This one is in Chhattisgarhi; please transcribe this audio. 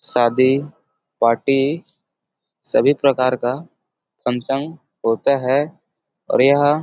शादी पार्टी सभी प्रकार का फंक्शन होता है और यह --